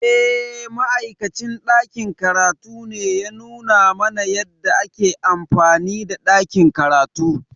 Eh, Ma’aikacin ɗakin karatu ne ya nuna mana yadda ake amfani da ɗakin karatu.